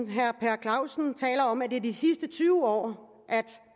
herre per clausen taler om at det er i de sidste tyve år